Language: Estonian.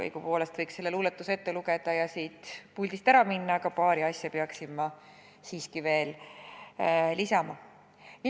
Õigupoolest võiksin selle luuletuse ette lugeda ja siit puldist ära minna, aga paar asja peaksin ma siiski veel lisama.